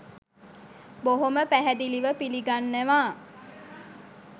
බොහොම පැහැදිලිව පිළිගන්නවා.